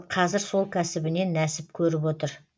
қазір сол кәсібінен нәсіп көріп отыр